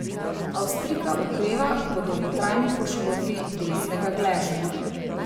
Avstrijka okreva po dolgotrajni poškodbi desnega gležnja.